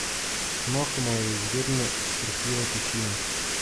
Mahoma ju zagrne srhljiva tišina.